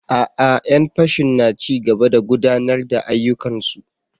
A'a! 'yan fashin na ci gaba da gudanar da ayyukansu.